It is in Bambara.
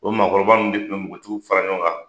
O maakɔrɔba nunnu de kun be npogotigiw fara ɲɔgɔn kan